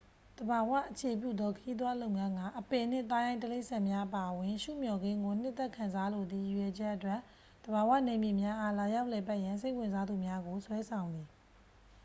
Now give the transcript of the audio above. သဘာဝအခြေပြုသော ခရီးသွားလုပ်ငန်းက အပင်နှင့် သားရိုင်းတိရိစ္ဆာန်များအပါအဝင် ရှုမျှော်ခင်းကို နှစ်သက်ခံစားလိုသည့် ရည်ရွယ်ချက်အတွက် သဘာဝနယ်မြေများအား လာရောက်လည်ပတ်ရန် စိတ်ဝင်စားသူများကို ဆွဲဆောင်သည်